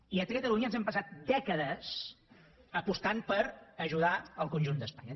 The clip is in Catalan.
i aquí a catalunya ens hem passat dècades apostant per ajudar el conjunt d’espanya